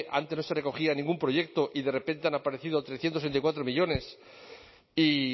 antes no se recogía en ningún proyecto y de repente han aparecido trescientos veinticuatro millónes y